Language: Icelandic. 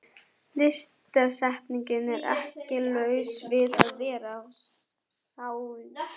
Litasamsetningin er ekki laus við að vera sláandi.